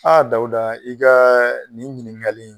Dawuda i ka nin ɲininkali in